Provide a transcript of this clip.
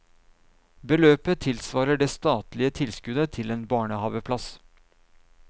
Beløpet tilsvarer det statlige tilskuddet til en barnehaveplass.